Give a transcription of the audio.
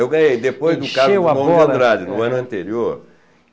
Eu ganhei depois do caso do Drummond Andrade, no ano anterior.